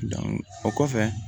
o kɔfɛ